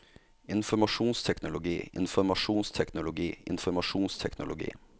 informasjonsteknologi informasjonsteknologi informasjonsteknologi